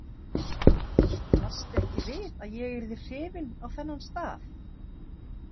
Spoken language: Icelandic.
Blasti ekki við að ég yrði hrifin á þennan stað?